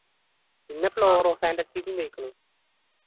പിന്ന floro fantasy ക്കും പോയിക്കുണു.